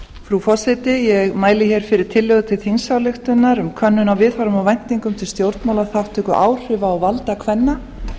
frú forseti ég mæli hér fyrir tillögu til þingsályktunar um könnun á viðhorfum og væntingum til stjórnmálaþátttöku áhrifa og valda kvenna